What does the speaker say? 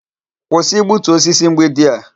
Kwụsị igbutu osisi mgbidi a.